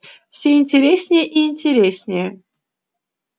всё интереснее и интереснее